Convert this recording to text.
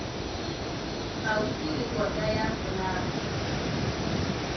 kgauswi le kota ya folaga